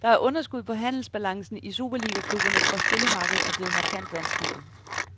Der er underskud på handelsbalancen i superligaklubberne, for spillermarkedet er blevet markant vanskeligere.